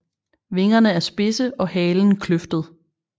Vingerne er spidse og halen kløftet